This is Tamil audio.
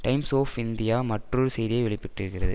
டைம்ஸ் ஒ இந்தியா மற்றொரு செய்தியை வெளிபட்டிருந்தது